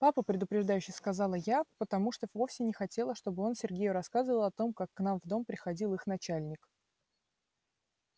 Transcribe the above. папа предупреждающе сказала я потому что вовсе не хотела чтобы он сергею рассказывал о том как к нам в дом приходил их начальник